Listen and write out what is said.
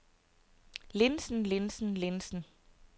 linsen linsen linsen